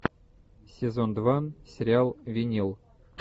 сезон два сериал винил